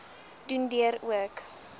doen deur ook